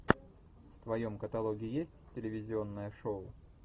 в твоем каталоге есть телевизионное шоу